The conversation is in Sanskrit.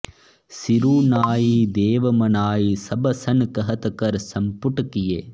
सिरु नाइ देव मनाइ सब सन कहत कर संपुट किएँ